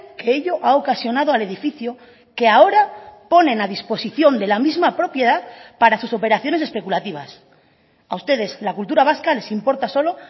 que ello ha ocasionado al edificio que ahora ponen a disposición de la misma propiedad para sus operaciones especulativas a ustedes la cultura vasca les importa solo